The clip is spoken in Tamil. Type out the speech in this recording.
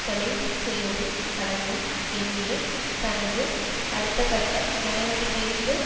கொலை செய்வதும் அடங்கும் என்று தனது அடுத்தகட்ட நடவடிக்கைக்கு